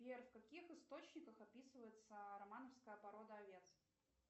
сбер в каких источниках описывается романовская порода овец